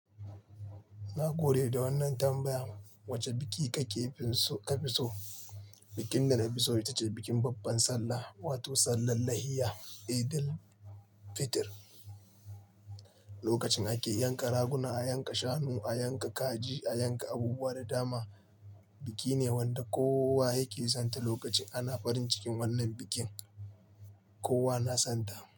Na gode da wannan tambaya. Wace biki kake fi so ka fi so? Bikin da na fi so ita ce bikin babban Sallah, wato Sallar Lahiya, Eidul Fitr. Lokacin ake yanka raguna, a yanka shanu, a yanka kaji, a yanka abubuwa da dama. Biki ne wanda kowa yake son ta. Lokacin ana farin cikin wannan bikin kowa na son ta.